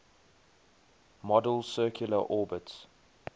model's circular orbits